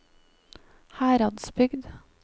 Heradsbygd